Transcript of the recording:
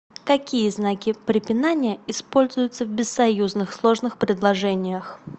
какие знаки препинания используются в бессоюзных сложных предложениях